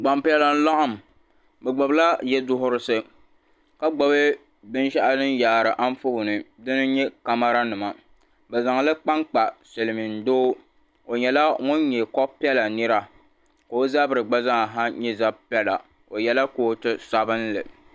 Gban piɛla. bɛ gbubi la yiduɣirisi. ka gbubi bɛn sheɣu din yaari an tɔɔni. n nyɛ camara nima bɛ zaŋli kpakpa silimiin doo. o nyɛla ŋun nyɛ ko piɛla nira. ka ɔzabri gba zaa na nyɛ za piɛla. ɔ yela kootu sabinli.